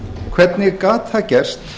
hvernig gat það gerst